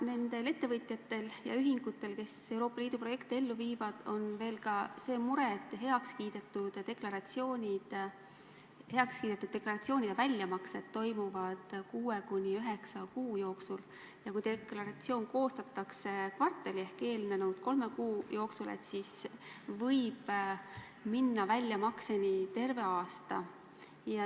Nendel ettevõtjatel ja ühingutel, kes Euroopa Liidu projekte ellu viivad, on veel ka see mure, et heakskiidetud deklaratsioonide väljamaksed toimuvad kuue kuni üheksa kuu jooksul ja kui deklaratsioon koostatakse kvartali ehk eelnenud kolme kuu jooksul, siis võib minna väljamaksega terve aasta.